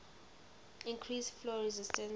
increase flow resistance